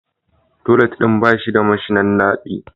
Toilet din ba shi da mashinan nadi